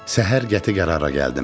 Səhər qəti qərara gəldim.